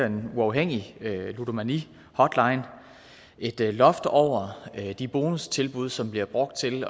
en uafhængig ludomanihotline et loft over de bonustilbud som bliver brugt til